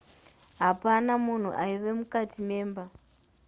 hapana munhu aiva mukati memba